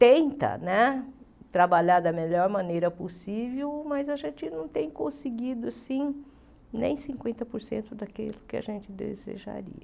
Tenta né trabalhar da melhor maneira possível, mas a gente não tem conseguido sim nem cinquenta por cento daquilo que a gente desejaria.